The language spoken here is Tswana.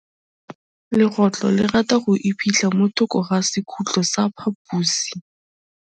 Legôtlô le rata go iphitlha mo thokô ga sekhutlo sa phaposi.